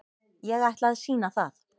Ég ætla að sýna það.